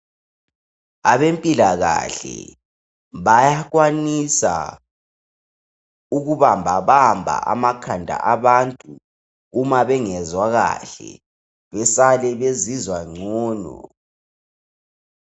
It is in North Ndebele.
Abempilakahle bayakwanisa ukubamba bamba amakhanda abantu uma bengezwa kahle besale bezizwa ngcono